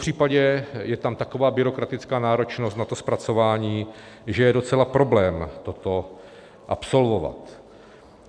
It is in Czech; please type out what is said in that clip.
Popřípadě je tam taková byrokratická náročnost na to zpracování, že je docela problém toto absolvovat.